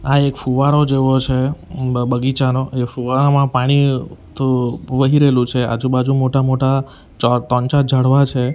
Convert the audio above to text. આ એક ફુવારો જેવો છે બ બગીચાનો એ ફુવારામાં પાણી ત વહી રહેલું છે આજુબાજુ મોટા-મોટા ચ ત્રણ ચાર ઝાડવા છે.